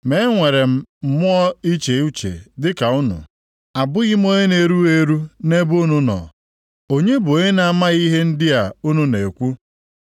Ma enwere m mmụọ iche uche dịka unu; abụghị m onye na-erughị eru nʼebe unu nọ. Onye bụ onye na-amaghị ihe ndị a unu na-ekwu?